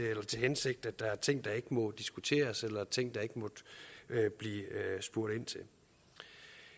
hensigt at der er ting der ikke må diskuteres eller ting der ikke må blive spurgt ind til